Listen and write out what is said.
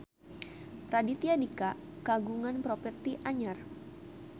Raditya Dika kagungan properti anyar